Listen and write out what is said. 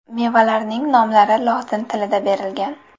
Mevalarning nomlari lotin tilida berilgan.